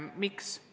Miks?